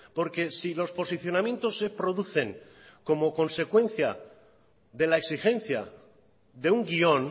porque si los posicionamientos se producen como consecuencia de la exigencia de un guión